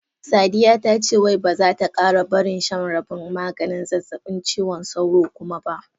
Sadiya ta ce wai ba za ta kara barin shan rabin maganin zazzabin cizon sauro kuma ba.